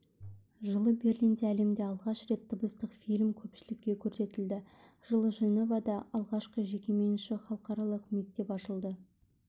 жылы берлинде әлемде алғаш рет дыбыстық фильм көпшілікке көрсетілді жылы женевада алғашқы жекеменшік халықаралық мектеп ашылды